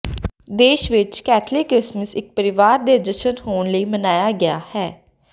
ਦੇਸ਼ ਵਿਚ Catholic Christmas ਇੱਕ ਪਰਿਵਾਰ ਦੇ ਜਸ਼ਨ ਹੋਣ ਲਈ ਮੰਨਿਆ ਗਿਆ ਹੈ